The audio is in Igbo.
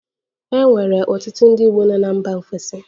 E nwere ọtụtụ ndị Igbo nọ na mba ofesi